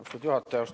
Austatud juhataja!